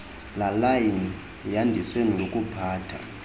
layan yaniswe nokuphatha